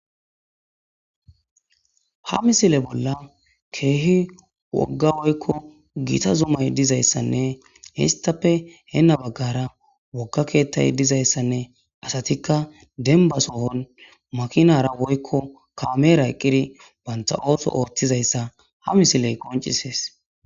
Ha misile bolla keehi wogga woykko giita zumay dizayssanne histappe heenna baggara wogga keettay dizayssanne asatikka denbasohon makinara woykko kameera eqqiri banta ooto oottizayssa ha misiley qoncisees.